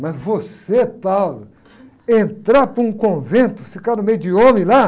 Mas você, entrar para um convento, ficar no meio de homem lá?